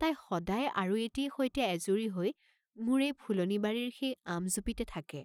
তাই সদাই আৰু এটিয়ে সৈতে এজুৰি হৈ মোৰ এই ফুলনি বাৰীৰ সেই আম জুপিতে থাকে।